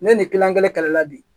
Ne ni kilan kelen kɛlɛla bi